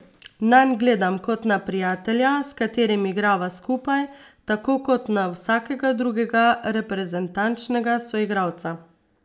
Nanj gledam kot na prijatelja, s katerim igrava skupaj, tako kot na vsakega drugega reprezentančnega soigralca.